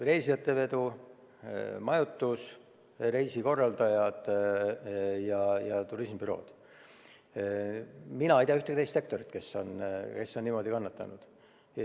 Reisijatevedu, majutus, reisikorraldajad ja turismibürood – mina ei tea ühtegi teist sektorit, kes oleks niimoodi kannatanud.